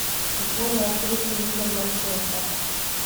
футбольная встреча ливер манчестер